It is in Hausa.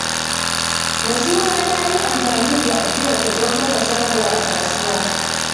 Mansura ta yi amfani da ajiyarta don kafa shago a kasuwa.